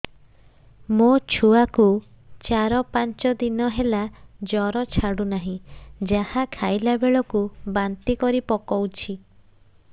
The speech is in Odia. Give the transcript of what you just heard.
ମୋ ଛୁଆ କୁ ଚାର ପାଞ୍ଚ ଦିନ ହେଲା ଜର ଛାଡୁ ନାହିଁ ଯାହା ଖାଇଲା ବେଳକୁ ବାନ୍ତି କରି ପକଉଛି